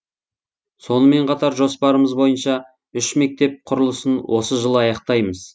сонымен қатар жоспарымыз бойынша үш мектеп құрылысын осы жылы аяқтаймыз